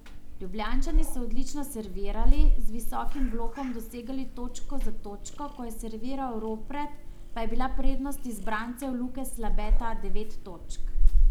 Ljubljančani so odlično servirali, z visokim blokom dosegali točko za točko, ko je serviral Ropret, pa je bila prednost izbrancev Luke Slabeta devet točk.